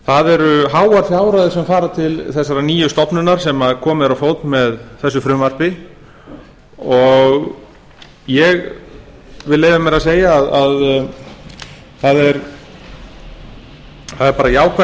það eru háar fjárhæðir sem fara til þessarar nýju stofnunar sem komið er á fót með þessu frumvarpi og ég vil leyfa mér að segja að það er bara jákvætt